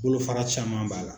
Bolo fara caman b'a la.